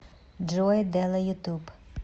джой дэла ютуб